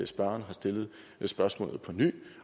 spørgeren har stillet spørgsmålet på ny